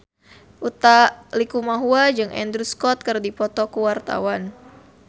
Utha Likumahua jeung Andrew Scott keur dipoto ku wartawan